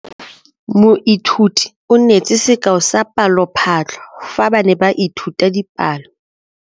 Moithuti o neetse sekaô sa palophatlo fa ba ne ba ithuta dipalo.